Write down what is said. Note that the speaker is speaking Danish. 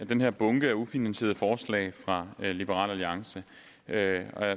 den her bunke af ufinansierede forslag fra liberal alliance og jeg har